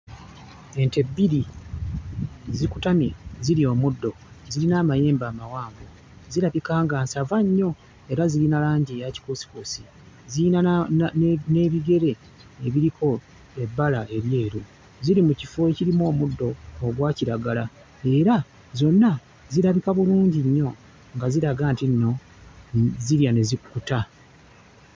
Ente bbiri zikutamye zirya omuddo, zirina amayembe amawanvu. Zirabika nga nsava nnyo era zirina langi eya kikuusikuusi, zirina na... n'ebigere ebiriko ebbala eryeru. Ziri mu kifo ekirimu omuddo ogwa kiragala era zonna zirabika bulungi nnyo nga ziraga nti nno zirya ne zikkuta.